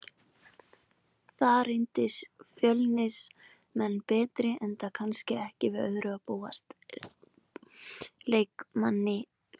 Þar reyndust Fjölnismenn betri enda kannski ekki við öðru að búast, leikmanni fleiri.